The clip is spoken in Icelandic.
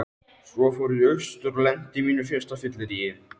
Svo fór ég austur og lenti á mínu fyrsta fylleríi.